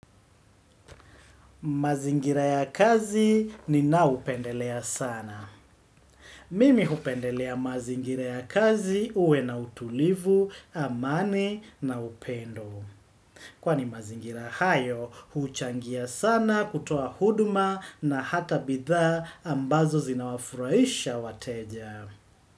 Mazingira ya kazi ni naupendelea sana. Mimi upendelea mazingira ya kazi uwe na utulivu, amani na upendo. Kwani mazingira hayo, uchangia sana kutoa huduma na hata bidhaa ambazo zinawafuraisha wateja.